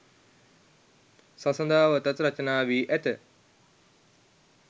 සසදාවතත් රචනා වී ඇත.